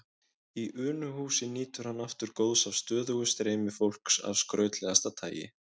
Í Unuhúsi nýtur hann aftur góðs af stöðugu streymi fólks af skrautlegasta tagi.